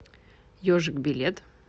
ежик билет